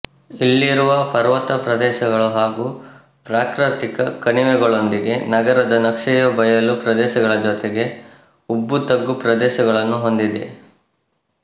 ಇಲ್ಲಿರುವ ಪರ್ವತ ಪ್ರದೇಶಗಳು ಹಾಗೂ ಪ್ರಾಕೃತಿಕ ಕಣಿವೆಗಳೊಂದಿಗೆ ನಗರದ ನಕ್ಷೆಯು ಬಯಲು ಪ್ರದೇಶಗಳ ಜೊತೆಗೆ ಉಬ್ಬುತಗ್ಗು ಪ್ರದೇಶಗಳನ್ನೂ ಹೊಂದಿದೆ